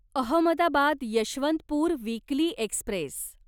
Ahmedabad Yesvantpur weekly Express